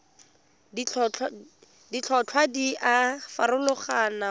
ditlhotlhwa di a farologana go